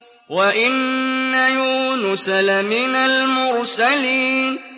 وَإِنَّ يُونُسَ لَمِنَ الْمُرْسَلِينَ